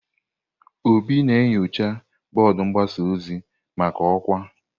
Obi na-enyocha bọọdụ mgbasa ozi maka ọkwa.